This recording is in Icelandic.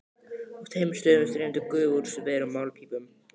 Á tveimur stöðum streymdi gufa úr sverum málmpípum.